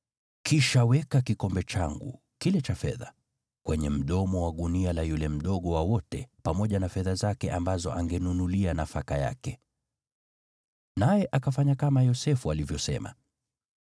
Kisha weka kikombe changu kile cha fedha kwenye mdomo wa gunia la yule mdogo wa wote pamoja na fedha zake ambazo angenunulia nafaka yake.” Naye akafanya kama Yosefu alivyosema.